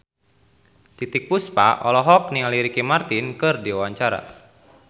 Titiek Puspa olohok ningali Ricky Martin keur diwawancara